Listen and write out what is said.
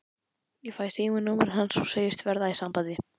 Ég fæ símanúmerið hans og segist verða í sambandi.